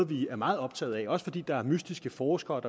vi er meget optaget af også fordi mystiske forskere